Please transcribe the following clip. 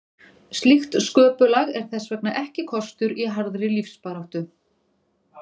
Slíkt sköpulag er þess vegna ekki kostur í harðri lífsbaráttu.